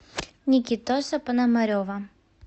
никитоса пономарева